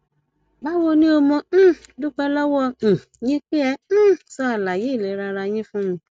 báwo ni o mo um dúpẹ lọwọ um yín pé ẹ um sọ àlàyé ìlera ara yín fún mi